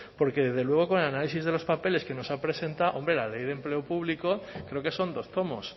porque desde luego con el análisis de los papeles que nos ha presentado hombre la ley de empleo público creo que son dos tomos